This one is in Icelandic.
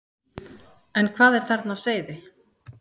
En hvað er þarna á seyði?